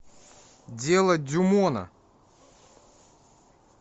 дело дюмона